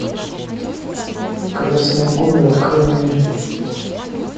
красные горы открой мне